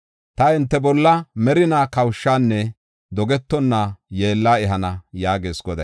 Ta hinte bolla merinaa kawushanne dogetonna yeella ehana” yaagees Goday.